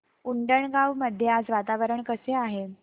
उंडणगांव मध्ये आज वातावरण कसे आहे